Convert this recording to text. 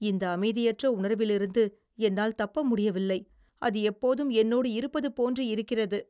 இந்த அமைதியற்ற உணர்விலிருந்து என்னால் தப்ப முடியவில்லை. அது எப்போதும் என்னோடு இருப்பதுபோன்று இருக்கிறது.